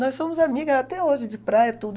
Nós somos amigas até hoje, de praia e tudo.